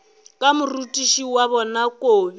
ka morutiši wa bona kobi